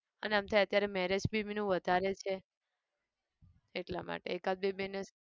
અને એમ થાય અત્યારે marriage બી નું વધારે છે એટલા માટે એકાદ બે જણને